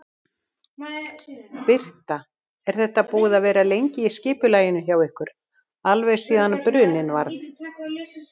Birta: Er þetta búið að vera lengi í skipulagningu hjá ykkur, alveg síðan bruninn varð?